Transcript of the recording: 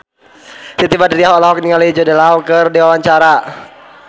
Siti Badriah olohok ningali Jude Law keur diwawancara